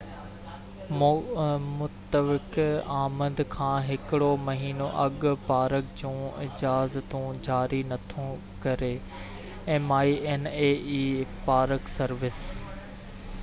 park service minae متوقع آمد کان هڪڙو مهينو اڳ پارڪ جون اجازتون جاري نٿو ڪري